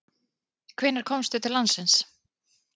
Hvenær komstu til landsins?